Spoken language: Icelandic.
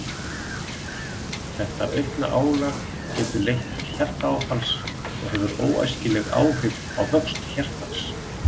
Þetta aukna álag getur leitt til hjartaáfalls og hefur óæskileg áhrif á vöxt hjartans.